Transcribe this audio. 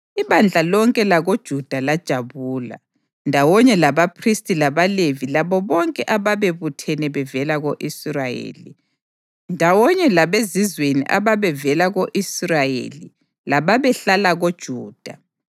Ibandla lonke lakoJuda lajabula, ndawonye labaphristi labaLevi labo bonke ababebuthene bevela ko-Israyeli, ndawonye labezizweni ababevela ko-Israyeli lababehlala koJuda.